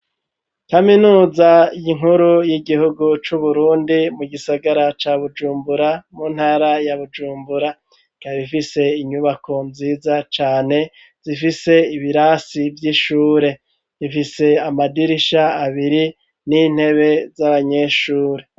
Kaminuza inkuru y'igihugu cu Burundi mu gisagara ca Bujumbura mu ntara ya Bujumbura ikaba ifise inyubako nziza cane zifise ibirasi vy'ishure ifise amadirisha abiri n'intebe z'abanyeshuri.